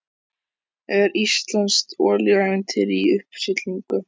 Er íslenskt olíuævintýri í uppsiglingu?